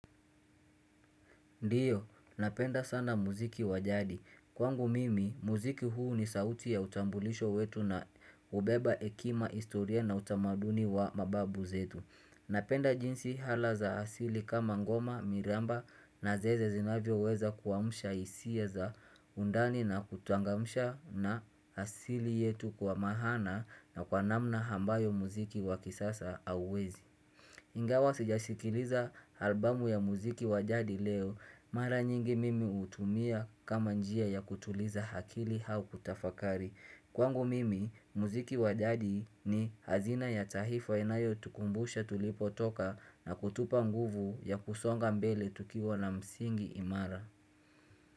Ndiyo, napenda sana muziki wa jadi. Kwangu mimi, muziki huu ni sauti ya utambulisho wetu na hubeba hekima historia na utamaduni wa mababu zetu. Napenda jinsi ala za asili kama ngoma, miramba na zeze zinavyoweza kuwamsha hisia za undani na kuchangamsha na asili yetu kwa maana na kwa namna ambayo muziki wa kisasa hauwezi. Ingawa sijasikiliza albumu ya muziki wa jadi leo. Mara nyingi mimi hutumia kama njia ya kutuliza akili au kutafakari. Kwangu mimi, muziki wa jadi ni azina ya taifa inayotukumbusha tulipotoka na kutupa nguvu ya kusonga mbele tukiwa na msingi imara.